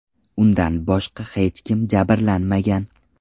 Undan boshqa hech kim jabrlanmagan.